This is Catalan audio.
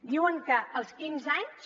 diuen que als quinze anys